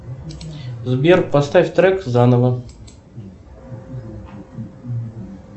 сбер поставь трек заново